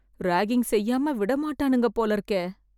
ragging செய்யாம விடமாட்டானுங்க போல இருக்கே...